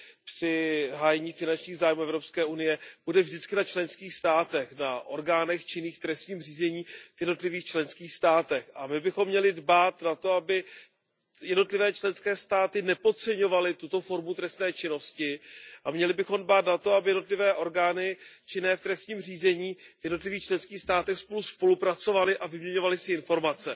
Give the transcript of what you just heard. při hájení finančních zájmů Evropské unie bude vždycky na členských státech, na orgánech činných v trestním řízení v jednotlivých členských státech. My bychom měli dbát na to, aby jednotlivé členské státy nepodceňovaly tuto formu trestné činnosti, a měli bychom dbát na to, aby jednotlivé orgány činné v trestním řízení v jednotlivých členských státech spolu spolupracovaly a vyměňovaly si informace.